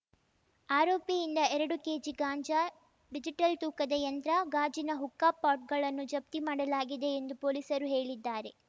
ಆರೋಪಿಯಿಂದ ಎರಡು ಕೆಜಿ ಗಾಂಜಾ ಡಿಜಿಟಲ್‌ ತೂಕದ ಯಂತ್ರ ಗಾಜಿನ ಹುಕ್ಕಾ ಪಾಟ್‌ಗಳನ್ನು ಜಪ್ತಿ ಮಾಡಲಾಗಿದೆ ಎಂದು ಪೊಲೀಸರು ಹೇಳಿದ್ದಾರೆ